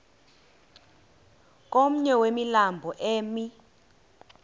komnye wemilambo emi